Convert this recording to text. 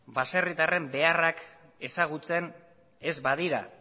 baserritarren beharrak ezagutzen ez badira